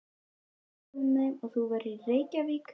Við sögðum þeim að þú værir í Reykjavík.